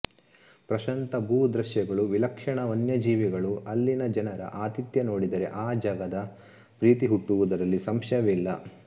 ಪ್ರಶಾಂತ ಭೂ ದೃಶ್ಯಗಳು ವಿಲಕ್ಷಣ ವನ್ಯ ಜೀವಿಗಳು ಅಲ್ಲಿನ ಜನರ ಆತಿಥ್ಯ ನೋಡಿದರೆ ಆ ಜಗದ ಪ್ರೀತಿ ಹುಟ್ಟುವುದರಲ್ಲಿ ಸಂಶಯವಿಲ್ಲ